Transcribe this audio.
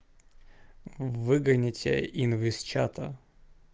выгоню тебя инвин чата